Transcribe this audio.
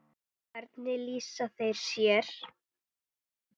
Hvernig lýsa þeir sér?